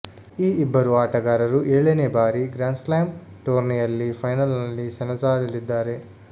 ಈ ಇಬ್ಬರು ಆಟಗಾರರು ಏಳನೆ ಬಾರಿ ಗ್ರಾನ್ಸ್ಲಾಮ್ ಟೂರ್ನಿಯಲ್ಲಿ ಫೈನಲ್ನಲ್ಲಿ ಸೆಣಸಾಡಲಿದ್ದಾರೆ